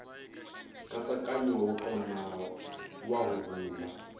nkatsakanyo wa kona wa huhula